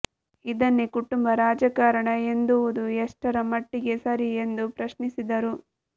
ಇದನ್ನೇ ಕುಟುಂಬ ರಾಜಕಾರಣ ಎಂದುವುದು ಎಷ್ಟರ ಮಟ್ಟಿಗೆ ಸರಿ ಎಂದು ಪ್ರಶ್ನಿಸಿದರು